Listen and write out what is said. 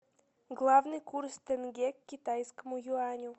главный курс тенге к китайскому юаню